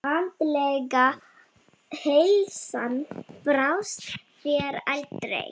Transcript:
Andlega heilsan brást þér aldrei.